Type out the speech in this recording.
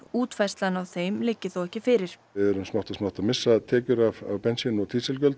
útfærslan á þeim liggi þó ekki fyrir við erum smátt og smátt að missa tekjur af bensín og